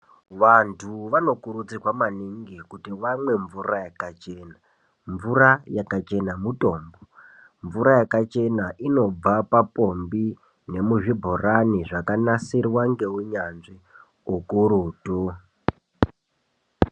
Vantu vanokurudzirwa maningi kuti vamwe mvura yakachena mvura yakachena mutombo mvura yakachena inobva papombi nemuzvibhorani zvakanasirwa ngeunyanzvi ukurutu.